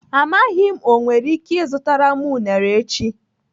Amaghị m, o nwere ike ịzụtara m unere echi.